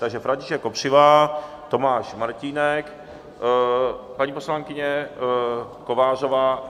Takže František Kopřiva, Tomáš Martínek, paní poslankyně Kovářová.